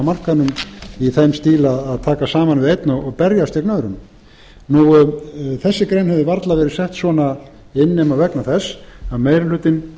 markaðnum í þeim stíl að taka saman við einn og berjast gegn öðrum þessi grein hefði varla verið sett svona inn nema vegna þess að meiri hlutinn